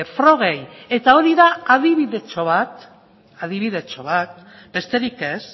frogei eta hori da adibidetxo bat adibidetxo bat besterik ez